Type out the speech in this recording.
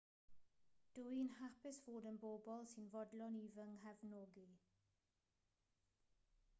dw i'n hapus fod yna bobl sy'n fodlon i fy nghefnogi